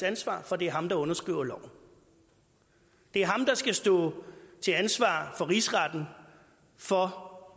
ansvar for det er ham der underskriver loven det er ham der skal stå til ansvar for rigsretten for